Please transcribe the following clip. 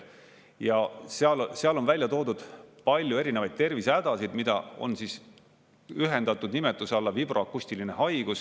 Ja seal on välja toodud palju erinevaid tervisehädasid, mida on ühendatud nimetuse alla vibroakustiline haigus.